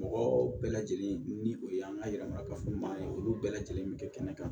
Mɔgɔ bɛɛ lajɛlen ni o ye an ka yɛlɛma kafoɲɔgɔnya ye olu bɛɛ lajɛlen bɛ kɛ kɛnɛ kan